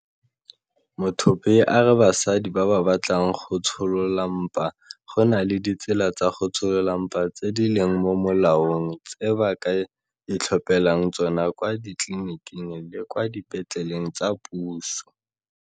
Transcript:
Muthuphei a re basadi ba ba batlang go tsholola mpa go na le ditsela tsa go tsholola mpa tse di leng mo molaong tse ba ka itlhophelang tsona kwa ditleleniking le kwa dipetleleng tsa puso.